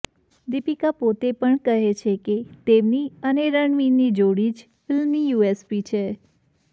દીપિકા પોતે પણ કહે છે કે તેમની અને રણવીરની જોડી જ ફિલ્મની યૂએસપી છે